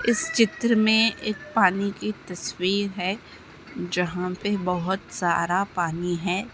इस चित्र मे एक पानी की तस्वीर है जहा पे बहोत सारा पानी है।